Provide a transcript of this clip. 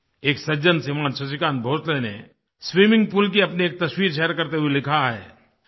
एक सज्जन श्रीमान् शशिकान्त भोंसले ने स्विमिंग पूल की अपनी एक तस्वीर शेयर करते हुए लिखा है